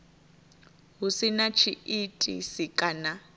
hu si na tshiitisi kana